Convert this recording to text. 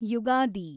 Ugadi